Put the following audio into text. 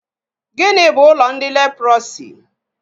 Gịnị bụ ụlọ ndị leprọsi?